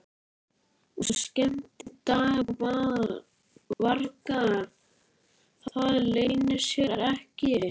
Og skemmdarvargar, það leynir sér ekki.